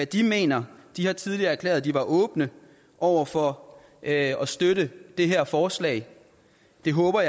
de mener de har tidligere erklæret at de var åbne over for at støtte det her forslag jeg håber